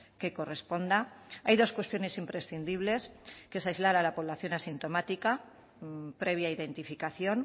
que corresponda hay dos cuestiones imprescindibles que es aislar a la población asintomática previa identificación